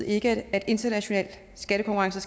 ikke at international skattekonkurrence